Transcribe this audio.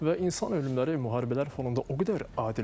Və insan ölümləri müharibələr fonunda o qədər adiləşib.